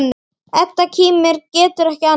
Edda kímir, getur ekki annað.